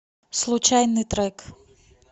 случайный трек